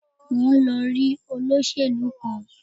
Mo ń lọ rí olóṣèlú kan